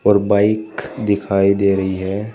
और बाइक दिखाई दे रही है।